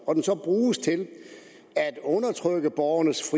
og den så bruges til at undertrykke borgernes